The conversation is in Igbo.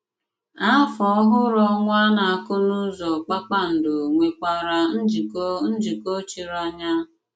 Áfọ Ọ̀hụrụ Ọnwà nà àkùnúzọ kpákpándò nwèkwàrà njíkọ̀ njíkọ̀ chírì ányà.